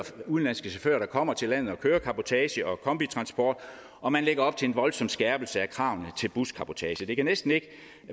udenlandske chauffører der kommer til landet og kører cabotage og kombitransport og man lægger op til en voldsom skærpelse af kravene til buscabotage det kan næsten ikke